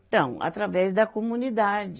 Então, através da comunidade.